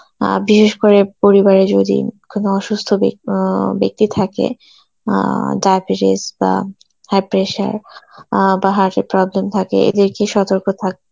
আর বিশেষ করে পরিবারে যদি কোন অসুস্থ বেক~ অ্যাঁ ব্যক্তি থাকে অ্যাঁ diabetes বা high pressure অ্যাঁ বা heart এর problem থাকে এদেরকে সতর্ক থাক